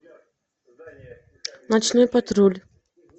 ночной патруль